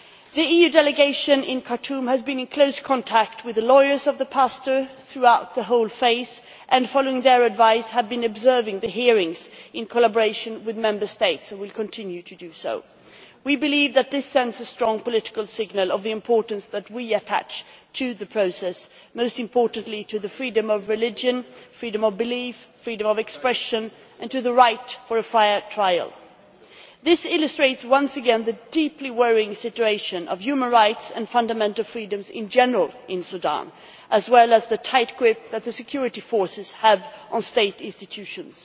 The EU delegation in Khartoum has been in close contact with the pastors' lawyers throughout the whole procedure and, following their advice, has been observing the hearings in collaboration with Member States. We continue to do so. We believe that this sends a strong political signal of the importance that we attach to the process, most importantly to the freedom of religion, freedom of belief, freedom of expression and the right to a fair trial. This illustrates, once again, the deeply worrying situation of human rights and fundamental freedoms in general in Sudan, as well as the tight grip that the security forces have on state institutions.